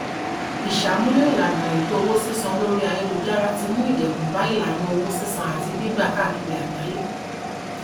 ìṣàmúlò ìlànà ètò owó sísan lórí ayélujára ti mú ìdẹkùn bá ìlànà owó sísan àti gbígbà káàkiri àgbáyé